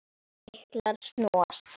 Lyklar snúast.